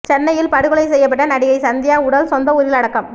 சென்னையில் படுகொலை செய்யப்பட்ட நடிகை சந்தியா உடல் சொந்த ஊரில் அடக்கம்